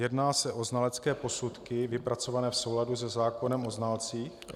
Jedná se o znalecké posudky vypracované v souladu se zákonem o znalcích?